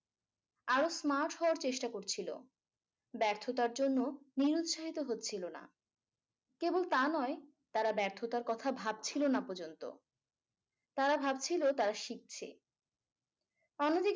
আরো smart হওয়ার চেষ্টা করছিলো ব্যর্থতার জন্য নিরুৎসাহিত হচ্ছিলোনা কেবল তা নয় তারা ব্যর্থতার কথা ভাবছিলোনা পযন্ত তারা ভাবছিলো তারা শিখছে অন্যদিকে